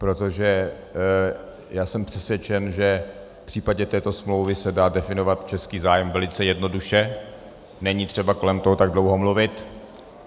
Protože já jsem přesvědčen, že v případě této smlouvy se dá definovat český zájem velice jednoduše, není třeba kolem toho tak dlouho mluvit.